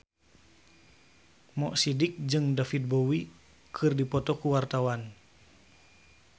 Mo Sidik jeung David Bowie keur dipoto ku wartawan